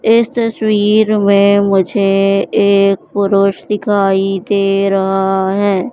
इस तस्वीर में मुझे एक पुरुष दिखाई दे रहा है।